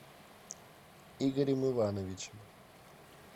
игорем ивановичем